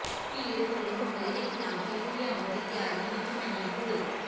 ਭੀੜ ਵੱਲੋਂ ਹਮਲੇ ਦੇ ਖਿਲਾਫ਼ ਬਿਲ ਲਿਆਉਣ ਦੀ ਤਿਆਰੀ ਵਿੱਚ ਮਣੀਪੁਰ